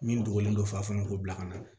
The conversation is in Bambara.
Min dogolen don fa fana k'u bila ka na